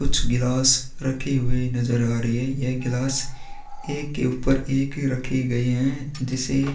कुछ गिलास रखे हुए नज़र आ रही है यह गिलास एक के ऊपर एक ही रखी गई है जिसे--